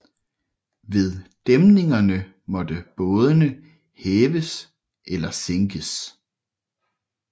Ved dæmningerne måtte bådene hæves eller sænkes